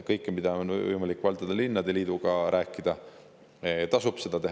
Kõike, mida on võimalik valdade ja linnade liiduga rääkida, tasub rääkida.